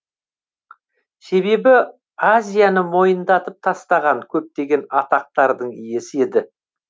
себебі азияны мойындатып тастаған көптеген атақтардың иесі еді